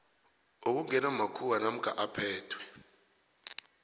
okungewamakhuwa namkha aphethwe